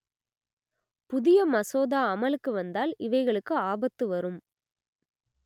புதிய மசோதா அமலுக்கு வந்தால் இவைகளுக்கு ஆபத்து வரும்